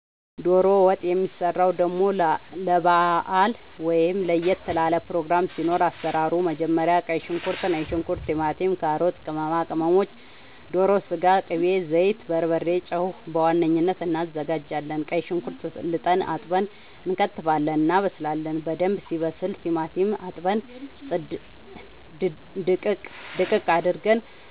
ዶሮ ወጥ የሚሰራው ደሞ ለባአል ወይም ለየት ላለ ፕሮግራም ሲኖር አሰራሩ መጀመሪያ ቀይ ሽንኩርት ነጭ ሽንኩርት ቲማቲም ካሮት ቅመማ ቅመሞች ዶሮ ስጋ ቅቤ ዘይት በርበሬ ጨው በዋነኝነት አናዘጋጃለን ቀይ ሽንኩርት ልጠን አጥበን እንከትፋለን እናበስላለን በደንብ ሲበስል ቲማቲም አጥበን ድቅቅ አርገን